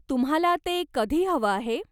तुम्हाला ते कधी हवं आहे?